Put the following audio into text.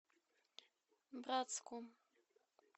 братску